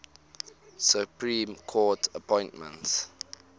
supreme court appointments